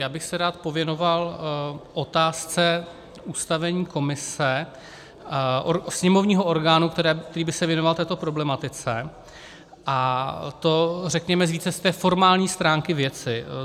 Já bych se rád pověnoval otázce ustavení komise, sněmovního orgánu, který by se věnoval této problematice, a to řekněme více z té formální stránky věci.